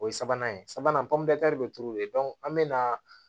O ye sabanan ye sabanan pɔnpɛrɛr bɛ turu de an bɛ na